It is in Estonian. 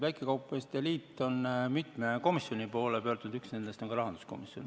Väikekaupmeeste liit on mitme komisjoni poole pöördunud, üks nendest on ka rahanduskomisjon.